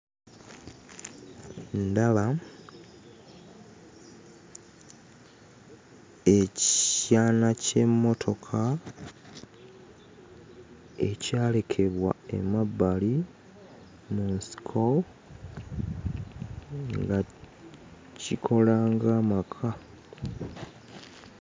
Ndaba ekyana ky'emmotoka ekyalekebwa emabbali mu nsiko nga kikola ng'amaka.